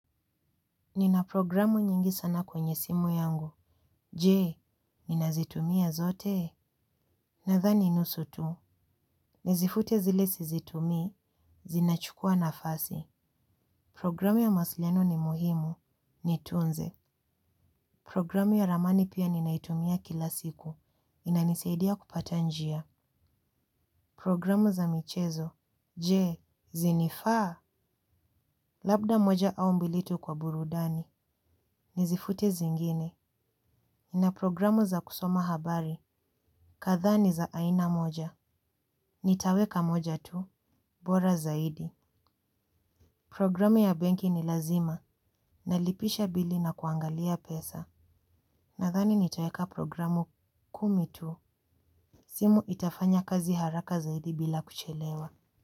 Nina programu nyingi sana kwenye simu yangu. Jee, ninazitumia zote? Nadhani nusu tu. Nizifute zile sizitumii, zinachukua nafasi. Programu ya mawasiliano ni muhimu, niitunze. Programu ya ramani pia ninaitumia kila siku. Inanisaidia kupata njia. Programu za michezo. Je, zinafaa? Labda moja au mbili tu kwa burudani. Nizifute zengine. Nina programu za kusoma habari. Kadhaa ni za aina moja. Nitaweka moja tu. Bora zaidi. Programu ya benki ni lazima. Nalipisha bili na kuangalia pesa. Nadhani nitaweka programu kumi tu. Simu itafanya kazi haraka zaidi bila kuchelewa.